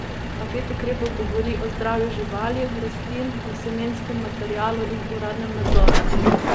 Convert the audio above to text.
Paket ukrepov govori o zdravju živali, rastlin, o semenskem materialu in uradnem nadzoru.